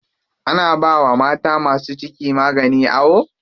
Ana bawa mata masu ciki magani a awo.